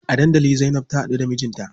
A dandali Zainab ta haɗu da mijinta.